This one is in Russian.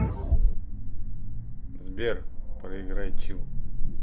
сбер проиграй чилл